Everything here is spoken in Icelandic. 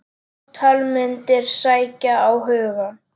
Ótal myndir sækja á hugann.